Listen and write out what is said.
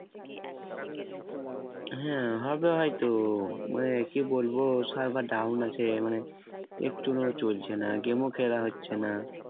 হ্যাঁ হবে হয়তো মানে কি বলবো server down আছে মানে একতুনু চলছে না game ও খেলা হচ্ছে না